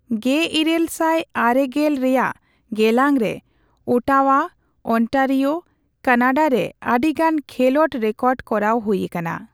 ᱑᱘᱙᱐ ᱨᱮᱭᱟᱜ ᱜᱮᱞᱟᱝ ᱨᱮ ᱚᱴᱟᱣᱟ, ᱚᱱᱴᱟᱨᱤᱣᱳ, ᱠᱟᱱᱟᱰᱟ ᱨᱮ ᱟᱹᱰᱤ ᱜᱟᱱ ᱠᱷᱮᱞᱳᱰ ᱨᱮᱠᱚᱰᱠᱚᱨᱟᱣ ᱦᱩᱭᱟᱠᱟᱱᱟ ᱾